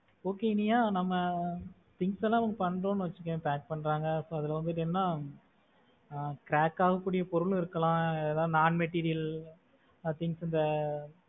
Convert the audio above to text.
Okay Iniya. நம்ம things எல்லாம் பண்றோம்னு வச்சுக்கோயே pack பண்றாங்க. அதுல வந்து என்னன்னா crack ஆகக்கூடிய பொருளும் இருக்கலாம் ஏதாவது non material things அந்த